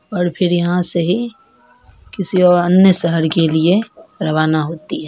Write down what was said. और फिर यहाँ से ही किसी और अन्य शहर के लिए रवाना होती है।